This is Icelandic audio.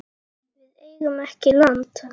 Við eigum ekki land.